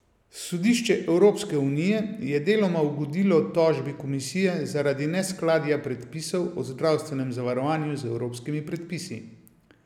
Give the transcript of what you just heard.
Sodišče Evropske unije je deloma ugodilo tožbi Komisije zaradi neskladja predpisov o zdravstvenem zavarovanju z evropskimi predpisi.